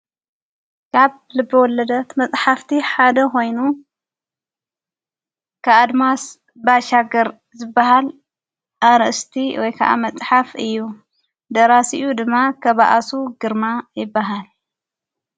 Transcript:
ካብ ልብ ወለደት መጽሕፍቲ ሓደ ኾይኑ ክኣድማስ ባሻገር ዘበሃል ኣርእስቲ ወይከዓ መጽሓፍ እዩ ደራሲኡ ድማ ኸብኣሱ ግርማ ይበሃል።